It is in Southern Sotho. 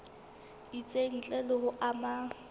itseng ntle le ho ama